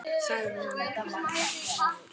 sagði hann gramur.